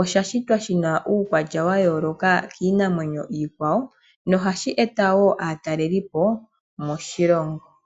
osha shitwa shina uukwatya wayooloka kiinamwenyo iikwawo nohashi eta wo aatalelipo moshilongo.